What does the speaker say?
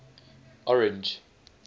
orange